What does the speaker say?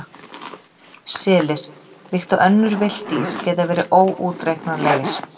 Selir, líkt og önnur villt dýr, geta verið óútreiknanlegir.